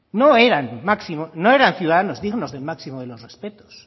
no eran ciudadanos dignos del máximo de los respetos